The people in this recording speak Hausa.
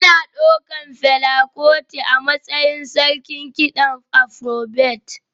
Ana ɗaukar Fela Kuti a matsayin sarkin kiɗan Afrobeat